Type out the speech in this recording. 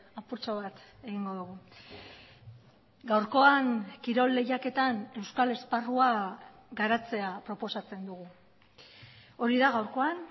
apurtxo bat egingo dugu gaurkoan kirol lehiaketan euskal esparrua garatzea proposatzen dugu hori da gaurkoan